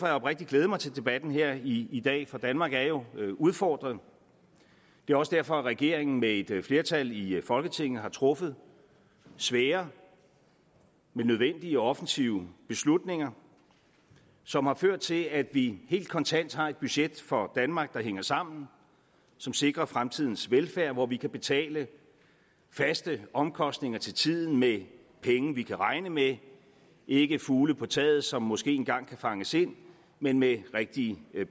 jeg oprigtigt glædet mig til debatten her i i dag for danmark er jo udfordret det er også derfor regeringen med et flertal i folketinget har truffet svære men nødvendige offensive beslutninger som har ført til at vi helt kontant har et budget for danmark der hænger sammen og som sikrer fremtidens velfærd hvor vi kan betale faste omkostninger til tiden med penge vi kan regne med ikke fugle på taget som måske engang kan fanges ind men med rigtige